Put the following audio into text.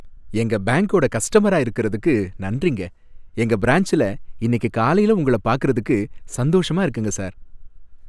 எங்க பேங்க்கோட கஸ்டமரா இருக்கறதுக்கு நன்றிங்க, எங்க பிரான்ச்ல இன்னிக்கு காலைல உங்களை பாக்குறதுக்கு சந்தோஷமா இருக்குங்க சார்